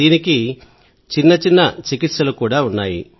దీనికి చిన్న చిన్న చికిత్సలున్నాయి